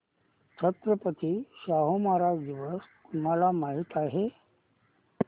छत्रपती शाहू महाराज दिवस तुम्हाला माहित आहे